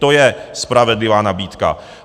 To je spravedlivá nabídka.